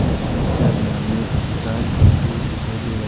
इस पिक्चर में हमें चार खंभे दिखाई दे रहा है।